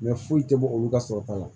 foyi tɛ bɔ olu ka sɔrɔta la